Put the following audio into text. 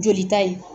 Joli ta ye